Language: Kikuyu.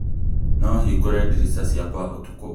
No hingũre ndirica ciakwa ũtukũ ũyũ